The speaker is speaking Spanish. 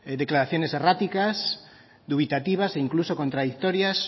declaraciones erráticas dubitativas e incluso contradictorias